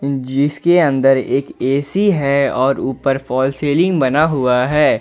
जिसके अंदर एक ए_सी है और ऊपर फाल सीलिंग बना हुआ है।